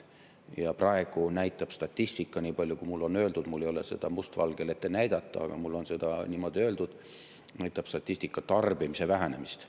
Ja praegu näitab statistika, niipalju kui mulle on öeldud – mul ei ole seda must valgel ette näidata, aga mulle on niimoodi öeldud –, tarbimise vähenemist.